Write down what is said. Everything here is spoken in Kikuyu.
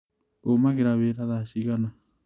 ũmagĩra wĩra thaa cigana?